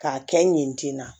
K'a kɛ ɲɛti na